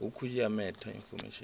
hukhu ya meta infomesheni i